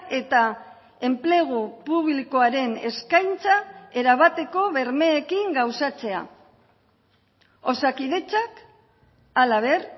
eta enplegu publikoaren eskaintza erabateko bermeekin gauzatzea osakidetzak halaber